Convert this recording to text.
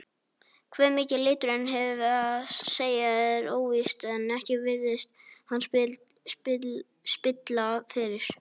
Hve mikið liturinn hefur að segja er óvíst en ekki virðist hann spilla fyrir.